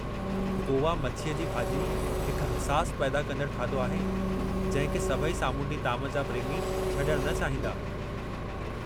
गोवा मछीअ जी भाॼी हिक हसास पैदा कंदड़ु खाधो आहे जंहिं खे सभई सामूंडी ताम जा प्रेमी छॾणु न चाहींदा।